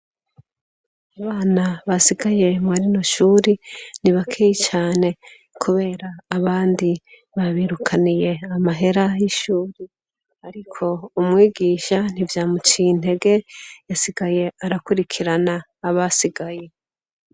Abana basigaye mwarinoshuri ni baki cane, kubera abandi babirukaniye amahera y'ishuri, ariko umwigisha ntivyamuciye intege yasigaye arakurikirana abasigaye.